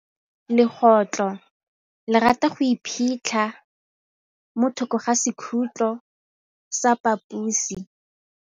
Legôtlô le rata go iphitlha mo thokô ga sekhutlo sa phaposi.